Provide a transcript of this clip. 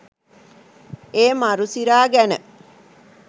ඒ මරු සිරා ගැන